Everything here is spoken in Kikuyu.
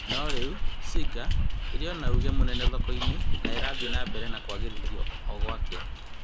No rĩu Singer ĩrĩo na uge mũnene thoko-inĩ na ĩrathie na mbere kwagĩrithio ũgwakĩa